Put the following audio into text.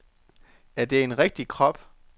Er det en rigtig krop?